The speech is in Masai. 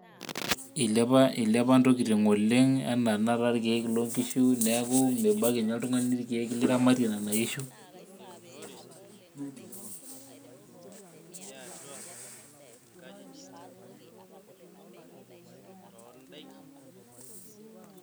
Ilepa ntokitin oleng' anaa tenakata irkiek lonkishu neeku mebaiki ninye oltung'ani libakie nena kishu.